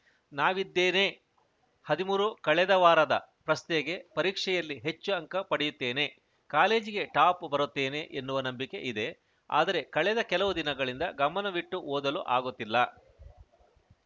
ನಾವಿದ್ದೇನೆ ಹದಿಮೂರು ಕಳೆದ ವಾರದ ಪ್ರಶ್ನೆಗೆ ಪರೀಕ್ಷೆಯಲ್ಲಿ ಹೆಚ್ಚು ಅಂಕ ಪಡೆಯುತ್ತೇನೆ ಕಾಲೇಜಿಗೆ ಟಾಪ್‌ ಬರುತ್ತೇನೆ ಎನ್ನುವ ನಂಬಿಕೆ ಇದೆ ಆದರೆ ಕಳೆದ ಕೆಲವು ದಿನಗಳಿಂದ ಗಮನವಿಟ್ಟು ಓದಲು ಆಗುತ್ತಿಲ್ಲ